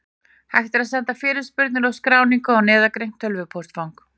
Hægt er að senda fyrirspurnir og skráningu á neðangreint tölvupóstfang.